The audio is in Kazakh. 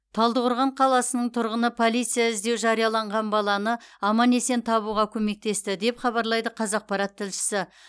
талдықорған қаласының тұрғыны полиция іздеу жарияланған баланы аман есен табуға көмектесті деп хабарлайды қазақпарат тілшісі